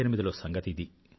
1998లో సంగతి ఇది